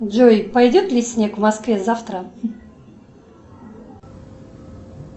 джой пойдет ли снег в москве завтра